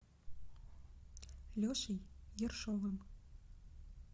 лешей ершовым